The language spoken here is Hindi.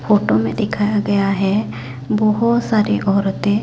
फोटो में दिखाया गया है बहोत सारी औरतें--